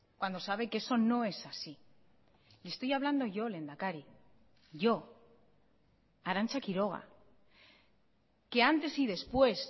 cuando sabe que eso no es así y estoy hablando yo lehendakari yo arantza quiroga que antes y después